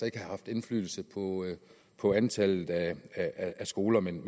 ikke have haft indflydelse på antallet af skoler men